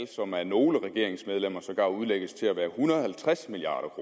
som af nogle regeringsmedlemmer sågar udlægges til at være en hundrede og halvtreds milliard